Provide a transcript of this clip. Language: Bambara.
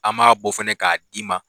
An ma bɔ fɛnɛ ka d'i ma